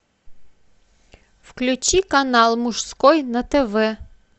включи канал мужской на тв